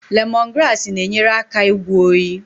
Lemongrass na-enyere aka ịgwọ oyi.